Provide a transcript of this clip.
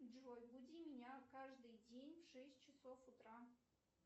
джой буди меня каждый день в шесть часов утра